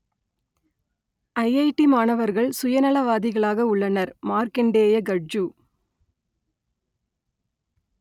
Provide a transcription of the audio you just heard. IIT மாணவர்கள் சுயநலவாதிகளாக உள்ளனர் மார்க்கண்டேய கட்ஜூ